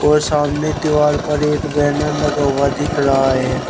और सामने दीवार पर एक बैनर लगा हुआ दिख रहा है।